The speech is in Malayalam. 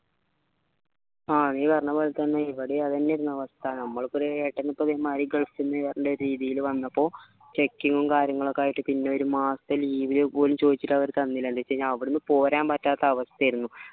നീ പറഞ്ഞ പോലെ തന്നെ ഇവിടെയും അതെന്ന്യായിരുന്നു അവസ്ഥ നമ്മളെ ഇപ്പോ ഏട്ടൻ ഇതേ മാരി gulf ന്ന് രീതിയില് വന്നപ്പോ checking ഉം കാര്യങ്ങളും ഒക്കെ ആയിട്ട് പിന്നെ ഒരു മാസത്തെ leave ന് പോലും ചായ്ച്ചിട്ട് അവർ തന്നീല അല്ലെ പിന്നെ അവിടെന്ന് പോരാൻ പറ്റാത്ത അവസ്ഥയായിരുന്നു